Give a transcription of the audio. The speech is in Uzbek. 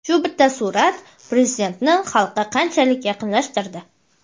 "Shu bitta surat Prezidentni xalqqa qanchalik yaqinlashtirdi!".